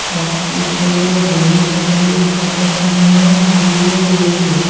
একটি ছেলে হলুদ রঙ্গের পতাকা নিয়ে দাঁড়িয়ে রয়েছে।